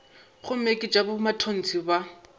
gomme ke tša bomatontshe ba